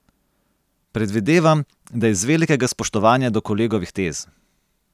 Predvidevam, da iz velikega spoštovanja do kolegovih tez.